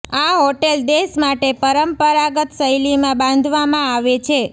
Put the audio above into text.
આ હોટેલ દેશ માટે પરંપરાગત શૈલી માં બાંધવામાં આવે છે